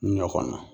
Ɲɔ kɔnɔ